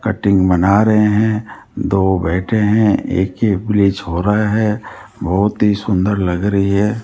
Cutting बना रहे हैं दो बैठे हैं एक की ब्लीच हो रहा है बहुत ही सुंदर लग रही है।